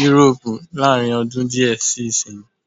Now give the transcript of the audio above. Yúróòpù láàrinọdún díẹ̀ sí ìsìnyí.